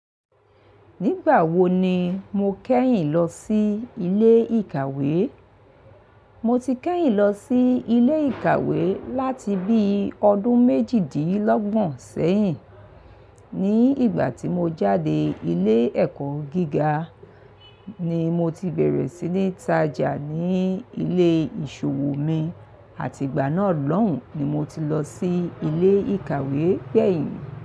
Nígbà wo ni mo kẹ́yìn lọ sí ilé ìkàwé? Mo ti kẹ́yìn lọ sí ilé ìkàwé láti bí ọdún méjìdínlọ́gbọ̀n sẹ́yìn. Ní ìgbà tí mo jáde ilé ẹ̀kọ́ gíga ni mo ti bẹ̀rẹ̀ sí ní tája ní ilé ìṣòwò mi àti ìgbà náà lọ́hùn ni mo ti lọ sí ilé ìkàwé kẹ́yìn.